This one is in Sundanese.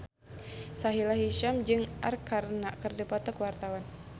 Sahila Hisyam jeung Arkarna keur dipoto ku wartawan